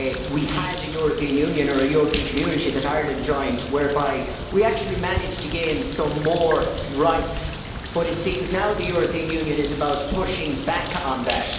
We had a European Union or a European Community that Ireland joined whereby we actually managed to gain some more rights, but it seems now the European Union is about pushing back on that.